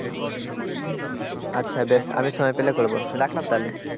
আচ্ছা বেশ আমি সময় পেলে করব রাখলাম তাহলে,